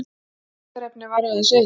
Fundarefnið var aðeins eitt